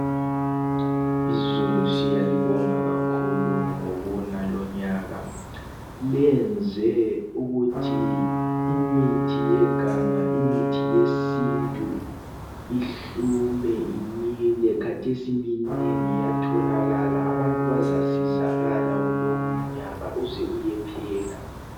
Izulu siyalibonga kakhulu ngokuna lonyaka. Lenze ukuthi imithi yeganga, imithi yesintu ihlume imile. Kathesi minengi iyatholakala. Abantu bazasizakala kulomnyaka uze uyephela.